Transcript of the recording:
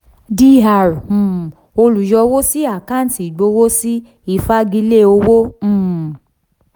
dr um olùyọwó sí àkáǹtì ìgbowósí ìfagilé ìwé owó um